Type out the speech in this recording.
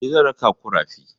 Eh, zan raka ku rafi.